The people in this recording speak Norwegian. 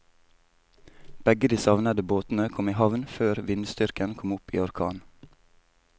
Begge de savnede båtene kom i havn før vindstyrken kom opp i orkan.